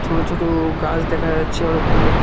ছোট ছোট গাস দেখা যাচ্ছে অনেকগুলো।